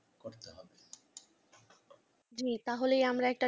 আপনি তাহলে আমরা